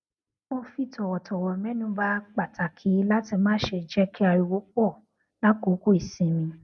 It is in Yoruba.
mo fi tòwòtòwò mẹnuba pàtàkì láti má ṣe jé kí ariwo pò lákòókò ìsinmi